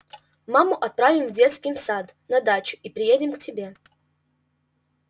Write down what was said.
маму отправим с детским садом на дачу и приедем к тебе